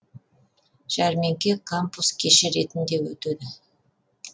жәрмеңке кампус кеші ретінде өтеді